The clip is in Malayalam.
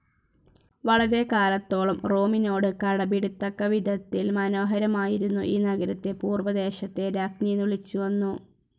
വളരെക്കാലത്തോളം റോമിനോട് കിടപിടിക്കത്തക്കവിധത്തിൽ മനോഹരമായിരുന്ന ഈ നഗരത്തെ പൂർവദേശത്തെ രാജ്ഞി എന്നു വിളിച്ചുവന്നു.